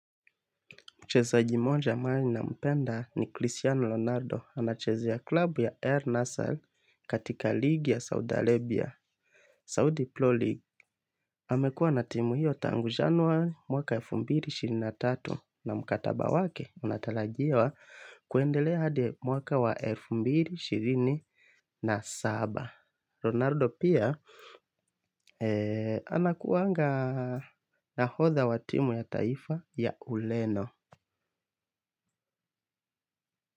Mchezaji moja maini nampenda ni Cristiano Ronaldo anacheza ya klabu ya Air Nassar katika ligi ya Saudi Arabia. Saudi Pro League amekuwa na timu hiyo tangu januwa mwaka elfu mbili na ishirini na tatu na mkataba wake unatalajiwa kwendelea hadi mwaka wa elfu mbili na ishirini na saba. Ronaldo pia anakuanga nahodha wa timu ya taifa ya uleno.